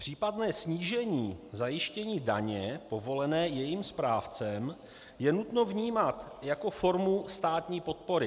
Případné snížení zajištění daně povolené jejím správcem je nutno vnímat jako formu státní podpory.